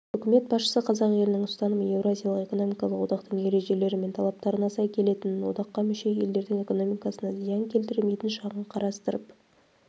үкімет басшысы қазақ елінің ұстанымы еуразиялық экономикалық одақтың ережелері мен талаптарына сай келетінін одаққа мүше елдердің экономикасына зиян келтірмейтін жағын қарастырып